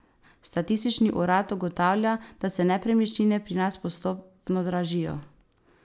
Statistični urad ugotavlja, da se nepremičnine pri nas postopno dražijo.